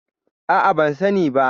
A'a, ban sani ba.